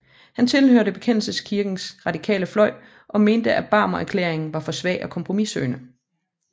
Han tilhørte Bekendelseskirkens radikale fløj og mente at Barmenerklæringen var for svag og kompromissøgende